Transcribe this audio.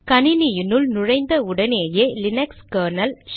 கணினினுள் நுழைந்த உடனேயே Linux kernel